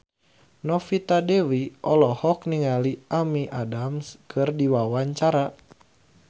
Novita Dewi olohok ningali Amy Adams keur diwawancara